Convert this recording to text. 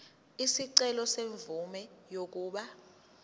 isicelo semvume yokuba